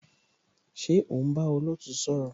Ṣé o ń bá olootu sọ̀rọ̀?